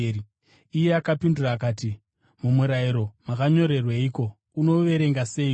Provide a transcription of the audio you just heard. Iye akapindura akati, “Mumurayiro makanyorweiko? Unouverenga seiko?”